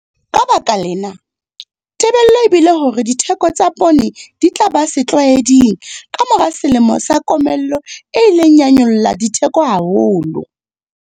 Ka baka lena, tebello e bile hore ditheko tsa poone di tla ba setlwaeding ka mora selemo sa komello e ileng ya nyolla ditheko haholo.